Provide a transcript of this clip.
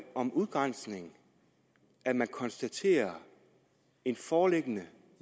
om udgrænsning at man konstaterer en foreliggende